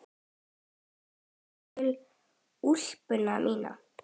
Hörð kippa í úlpuna mína.